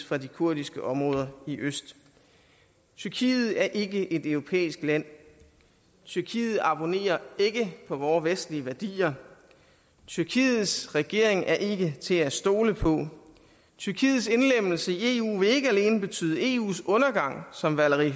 fra de kurdiske områder i øst tyrkiet er ikke et europæisk land tyrkiet abonnerer ikke på vore vestlige værdier tyrkiets regering er ikke til at stole på tyrkiets indlemmelse i eu vil ikke alene betyde eus undergang som valéry